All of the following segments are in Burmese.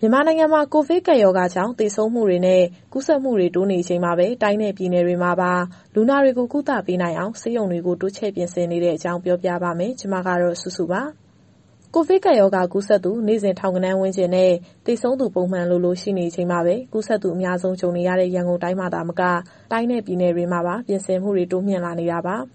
မြန်မာနိုင်ငံမှာ ကိုဗစ်ကပ်ရောဂါကြောင့် သေဆုံးမှုတွေနဲ့ ကူးစက်မှုတွေ တိုးနေချိန်မှာပဲ တိုင်းနဲ့ ပြည်နယ်တွေမှာပါ လူနာတွေကို ကုသပေးနိုင်အောင် ဆေးရုံတွေကို တိုးချဲ့ပြင်ဆင်နေတဲ့အကြောင်း ပြောပြပါမယ်။ ဒီသတင်းကို ဗွီအိုအေမြန်မာပိုင်း သတင်းထောက် မစုစုက တင်ဆက်ပေးမှာပါ။ ကိုဗစ်ကပ်ရောဂါ ကူးစက်သူ နေ့စဉ် ထောင်ဂဏန်းဝန်းကျင်နဲ့ သေဆုံးသူ ပုံမှန်လိုလို ရှိနေချိန်မှာ ကူးစက်မှု အများစုကြုံနေရတဲ့ ရန်ကုန်တိုင်းမှာသာမက တိုင်းနဲ့ပြည်နယ်တွေမှာပါ ပြင်ဆင်မှုတွေ တိုးမြှင့်လာနေတာပါ။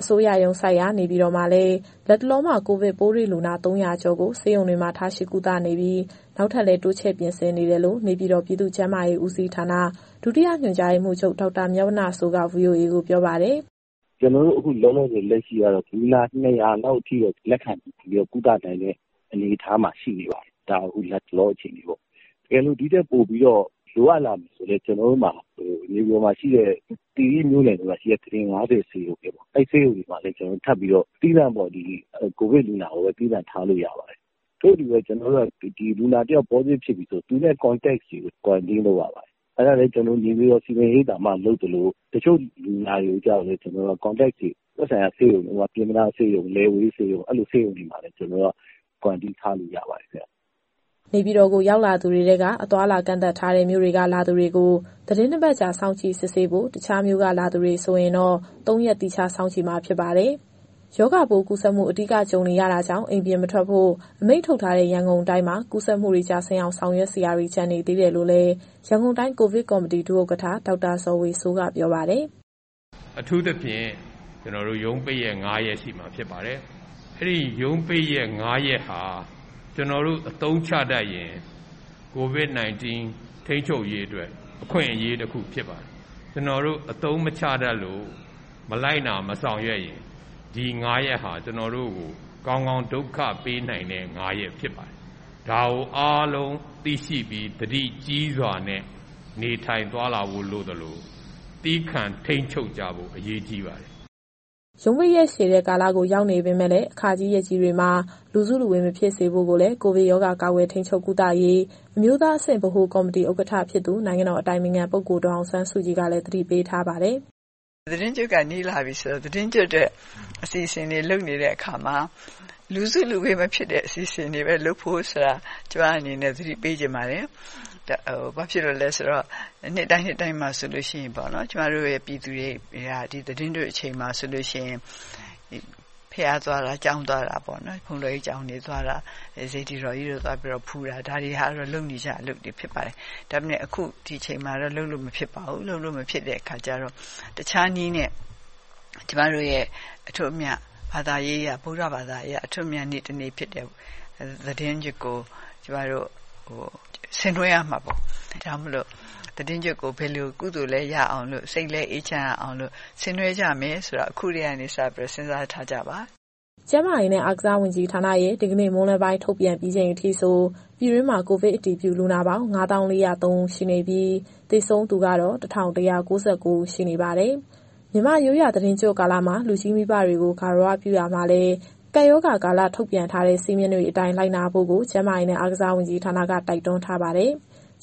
အစိုးရရုံးဆိုက်ရာ နေပြည်တော်မှာလည်း လတ်တလောမှာ ကိုဗစ်ပိုးတွေ့လူနာ ၃၀၀ ကျော်ကို ဆေးရုံတွေမှာ ထားရှိကုသနေပြီး၊ နောက်ထပ်လည်း တိုးချဲ့ပြင်ဆင်နေတယ်လို့ နေပြည်တော် ပြည်သူ့ကျန်းမာရေးဦးစီးဌာန၊ ဒုညွှန်ချုပ် ဒေါက်တာမြတ်ဝဏ္ဏစိုးက VOA ကိုပြောပါတယ်။ “ကျနော်တို့ အခုလောလောဆယ်အထိကတော့ လူနာ ၂၀၀ လောက်အထိတော့ လက်ခံပြီးတော့ ကုသနိုင်တဲ့အနေအထားမှာ ရှိနေပါတယ်။ ဒါလတ်တလော အခြေအနေပေါ့။ တကယ်လို့ ဒီထက်ပိုပြီးတော့ လိုအပ်လာမယ်ဆိုရင်လည်း နေပြည်တော်၊ သီရိမြို့တွေမှာရှိတဲ့ ကုတင် ၅၀ ဆေးရုံတွေမှာ ထပ်ပြီးတော့ ကိုဗစ်လူနာကိုပဲ သီးသန့်ထားလို့ရပါတယ်။ ထို့အတူပဲ လူနာတယောက် Positive ဖြစ်မယ်ဆိုရင် သူ့ရဲ့ Contact တွေကို Quarantine လုပ်ရပါတယ်။ အဲဒါလည်း ကျနော်တို့ နေပြည်တော်စည်ပင်ရိပ်သာမှာ လုပ်သလို၊ တချို့ Contact တွေကို သက်ဆိုင်ရာဆေးရုံတွေဖြစ်တဲ့ ပျဉ်းမနားတို့၊ လယ်ဝေးဆေးရုံတို့၊ အဲဒီဆေးရုံတွေမှာ Quarantine ထားလို့ရပါတယ်။” နေပြည်တော်ကို ရောက်လာသူတွေထဲက အသွားအလာ ကန့်သတ်ထားတဲ့ မြို့တွေကလာသူတွေကို သီတင်း ၂ ပတ်ကြာ စောင့်ကြည့်စစ်ဆေးဖို့၊ တခြားမြို့တွေက လာသူတွေဆိုရင်တော့ ၃ ရက် သီးခြားစောင့်ကြည့်မှာ ဖြစ်ပါတယ်။ ရောဂါပိုးကူးစက်မှု အဓိက ကြုံနေရတာကြောင့် အိမ်ပြင်မထွက်ဖို့ အမိန့်ထုတ်ထားတဲ့ ရန်ကုန်တိုင်းမှာ ကူးစက်မှုတွေ ကျဆင်းအောင် ဆောင်ရွက်စရာတွေ ကျန်သေးတယ်လို့လည်း ရန်ကုန်တိုင်း ကိုဗစ်ကော်မတီ ဒုဥက္ကဋ္ဌ ဒေါက်တာဇော်ဝေစိုးက ပြောပါတယ်။ “အထူးသဖြင့် ကျနော်တို့ ရုံးပိတ်ရက် ၅ ရက် ရှိမှာဖြစ်ပါတယ်။ အဲဒီရုံးပိတ်ရက် ၅ ရက်ဟာ ကျနော်တို့ အသုံးချတတ်ရင် COVID -19 ထိန်းချုပ်ရေးအတွက် အခွင့်အရေးတခုဖြစ်ပါတယ်။ ကျနော်တို့ အသုံးမချတတ်လို့ မလိုက်နာ၊ မဆောင်ရွက်ရင် ဒီ ၅ ရက်ဟာ ကျနော်တို့ကို ကောင်းကောင်းဒုက္ခပေးနိုင်တဲ့ ၅ ရက်ဖြစ်ပါတယ်။ ဒါကို အားလုံးသိရှိပြီး သတိကြီးစွာနဲ့ နေထိုင်သွားလာဖို့ လိုသလို၊ သည်းခံထိန်းချုပ်ကြဖို့ အရေးကြီးပါတယ်။” ရုံးပိတ်ရက်ရှည်တဲ့ကာလကို ရောက်နေပေမဲ့လည်း အခါကြီးရက်ကြီးတွေမှာ လူစုလူဝေးမဖြစ်စေဖို့ကိုလည်း ကိုဗစ်ရောဂါကာကွယ်၊ ထိန်းချုပ်၊ ကုသရေး အမျိုးသားအဆင့် ဗဟိုကော်မတီဥက္ကဋ္ဌဖြစ်သူ နိုင်ငံတော်အတိုင်ပင်ခံပုဂ္ဂိုလ် ဒေါ်အောင်ဆန်းစုကြည်ကလည်း သတိပေးထားပါတယ်။ “သီတင်းကျွတ်က နီးလာပြီဆိုတော့ သီတင်းကျွတ်အတွက် အစီအစဉ်တွေ လုပ်နေတဲ့အခါမှာ လူစုလူဝေးမဖြစ်တဲ့ အစီအစဉ်တွေပဲလုပ်ဖို့ ကျမအနေနဲ့ သတိပေးချင်ပါတယ်။ ဘာဖြစ်လို့လည်းဆိုတော့ နှစ်တိုင်းနှစ်တိုင်းမှာ ကျမတို့ရဲ့ ပြည်သူတွေဟာ ဒီသီတင်းကျွတ် အချိန်မျိုးမှာဆိုရင် ဘုရားသွားတာ၊ ကျောင်းသွားတာ၊ ဘုန်းတော်ကြီးကျောင်းတွေ သွားတာ၊ စေတီတော်ကြီးတွေကို သွားပြီးတော့ဖူးတာ ဒါတွေကတော့ လုပ်နေကြအလုပ်တွေ ဖြစ်ပါတယ်။ ဒါပေမဲ့ ဒီအချိန်မှာတော့ လုပ်လို့မဖြစ်ပါဘူး။ လုပ်လို့မဖြစ်တဲ့အခါကျတော့ တခြားနည်းနဲ့ ကျမတို့ရဲ့အထွဋ်အမြတ် ဘာသာရေးအရ၊ ဗုဒ္ဓဘာသာအရ အထွဋ်အမြတ်နေ့ တနေ့ဖြစ်တဲ့ သီတင်းကျွတ်ကို ကျမတို့ဆင်နွှဲရမှာပေါ့။ ဒါကြောင့်မို့လို့ သီတင်းကျွတ်ကို ကုသိုလ်လည်းရအောင်လို့ စိတ်လည်းအေးချမ်းရအောင်လို့ ဆင်နွှဲကြရမယ်ဆိုတာ အခုကတည်းကနေစပြီး စဉ်းစားထားကြပါ။” ကျန်းမာရေးနဲ့ အားကစားဝန်ကြီးဌာနရဲ့ ဒီကနေ့မွန်းလွဲပိုင်း ထုတ်ပြန်ပြီးချိန်အထိဆို ပြည်တွင်းမှာကိုဗစ်အတည်ပြု လူနာပေါင်း ၅၀,၄၀၃ ဦးရှိနေပြီး၊ သေဆုံးသူကတော့ ၁,၁၉၉ ဦးရှိနေပါတယ်။ မြန်မာ့ရိုးရာ သီတင်းကျွတ်ကာလမှာ လူကြီးမိဘတွေကို ဂါရဝပြုရာမှာလည်း ကပ်ရောဂါကာလ ထုတ်ပြန်ထားတဲ့စည်းမျဉ်းတွေအတိုင်း လိုက်နာဖို့ကို ကျန်းမာရေးနဲ့ အားကစားဝန်ကြီးဌာနက တိုက်တွန်းထားပါတယ်။